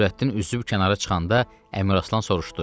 Nurəddin üzüb kənara çıxanda Əmiraslan soruşdu: